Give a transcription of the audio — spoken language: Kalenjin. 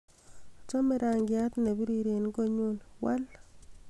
achome rangiat nebirir en konyun wal